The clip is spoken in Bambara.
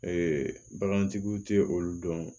bagantigiw tɛ olu dɔn